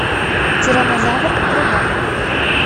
тираннозавр врубай